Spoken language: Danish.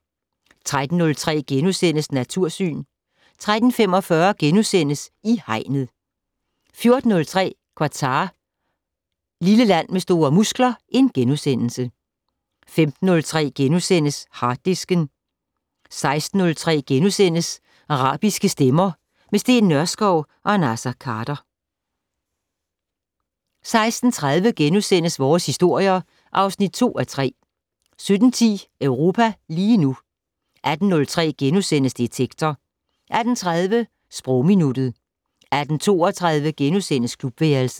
13:03: Natursyn * 13:45: I Hegnet * 14:03: Qatar - lille land med store muskler * 15:03: Harddisken * 16:03: Arabiske stemmer - med Steen Nørskov og Naser Khader * 16:30: Vores historier (2:3)* 17:10: Europa lige nu 18:03: Detektor * 18:30: Sprogminuttet 18:32: Klubværelset *